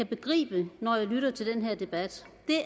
begribe når jeg lytter til den her debat